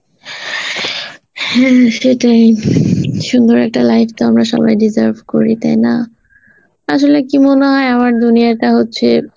হ্যাঁ সেটাই সুন্দর একটা life তো আমরা সবাই deserve করি তাই না, আসলে কি মনে হয় আমার দুনিয়াটা হচ্ছে,